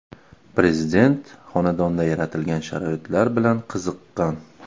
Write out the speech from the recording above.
Prezident xonadonda yaratilgan sharoitlar bilan qiziqqan.